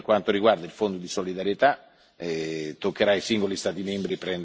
Quindi, naturalmente non c'è distinzione tra vittima e vittima.